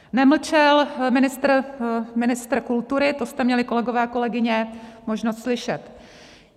Nemlčel ministr kultury, to jste měli, kolegyně a kolegové, možnost slyšet.